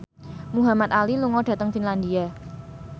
Muhamad Ali lunga dhateng Finlandia